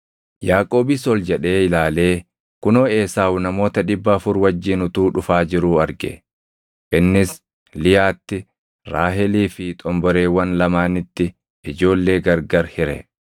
Yaaqoobis ol jedhee ilaalee kunoo Esaawu namoota dhibba afur wajjin utuu dhufaa jiruu arge; innis Liyaatti, Raahelii fi xomboreewwan lamaanitti ijoollee gargari hire.